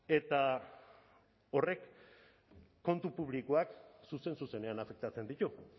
eta horrek kontu publikoak zuzen zuzenean afektatzen ditu